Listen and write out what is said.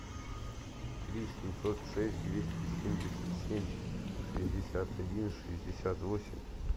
три семьсот шесть двести семьдесят семь шестьдесят один шестьдесят восемь